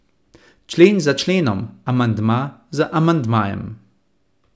Člen za členom, amandma za amandmajem.